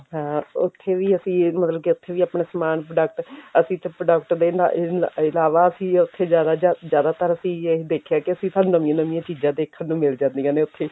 ਹਾਂ ਉੱਥੇ ਵੀ ਅਸੀਂ ਮਤਲਬ ਕੀ ਉੱਥੇ ਵੀ ਆਪਣਾ ਸਮਾਨ product ਅਸੀਂ ਤਾਂ product ਦੇ ਤੇ ਨਾ ਨਾ ਏ ਇਲਾਵਾ ਅਸੀਂ ਉੱਥੇ ਜ਼ਿਆਦਾ ਜ਼ਿਆਦਾਤਰ ਅਸੀਂ ਇਹੀ ਦੇਖਿਆ ਕੀ ਅਸੀਂ ਸਾਨੂੰ ਨਵੀਆਂ ਨਵੀਆਂ ਚੀਜ਼ਾਂ ਦੇਖਣ ਨੂੰ ਮਿਲ ਜਾਂਦੀਆਂ ਨੇ ਉੱਥੇ